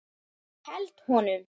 Held honum.